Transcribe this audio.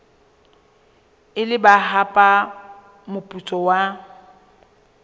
ile ba hapa moputso wa